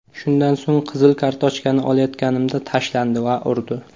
Shundan so‘ng, qizil kartochkani olayotganimda tashlandi va urdi.